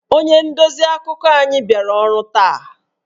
Onye ndozi akụkọ anyị abịaghị ọrụ taa